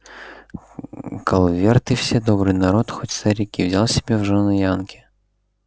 калверты все добрый народ хоть старик и взял себе в жёны янки